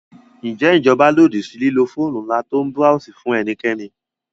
Ǹjẹ́ ìjọba lòdì sí lílo fóònù ńlá tó ń búráósì fún ẹnikẹ́ni?